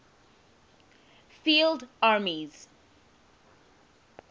field armies